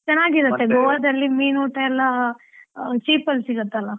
ಚನ್ನಾಗಿರತ್ತೆ ಮೀನೂಟ ಎಲ್ಲ, cheap ಅಲ್ಲಿ ಸಿಗತ್ತಲ್ಲ.